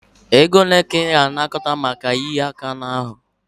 Ego ole ka ị na-anakọta maka ịhịa aka n'ahụ?